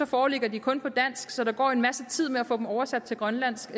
foreligger de kun på dansk så der går en masse tid med at få dem oversat til grønlandsk